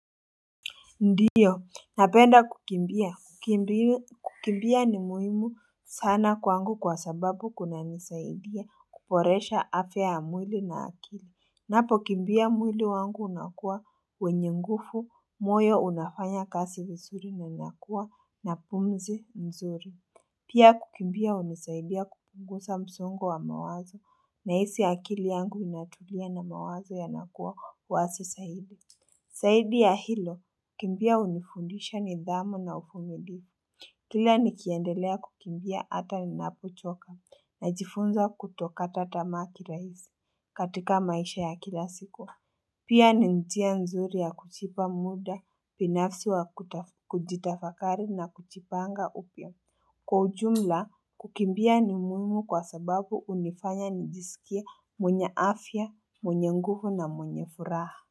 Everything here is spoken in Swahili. Ndiyo, napenda kukimbia. Kukimbia ni muhimu sana kwangu kwa sababu kunanisaidia kuboresha afya mwili na akili. Ninapokimbia mwili wangu unakuwa wenye nguvu, moyo unafanya kazi vizuri na inakuwa na pumzi mzuri. Pia kukimbia hunisaidia kupunguza msongo wa mawazo nahisi akili yangu inatulia na mawazo yanakuwa wazi zaidi. Zaidi ya hilo, kukimbia hunifundisha nidhamu na uvumilivu. Kila nikiendelea kukimbia hata ninapochoka najifunza kutokata tamaa kirahisi katika maisha ya kila siku. Pia ni njia nzuri ya kujipa muda, binafsi wa kujitafakari na kujipanga upya. Kwa ujumla, kukimbia ni muhimu kwa sababu hunifanya nijisikie mwenye afya, mwenye nguvu na mwenye furaha.